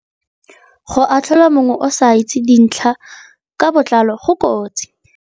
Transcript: Go atlhola mongwe o sa itse dintlha ka botlalo go kotsi.